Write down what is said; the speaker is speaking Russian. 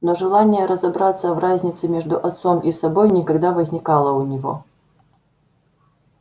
но желания разобраться в разнице между отцом и собой никогда возникало у него